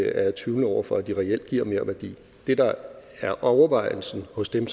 jeg er tvivlende over for at de reelt giver merværdi det der er overvejelsen hos dem